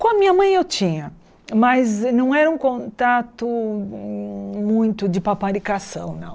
Com a minha mãe eu tinha, mas não era um contato muito de paparicação, não.